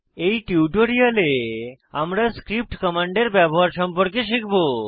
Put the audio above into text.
এই টিউটোরিয়ালে আমরা স্ক্রিপ্ট কমান্ডের ব্যবহার সম্পর্কে শিখব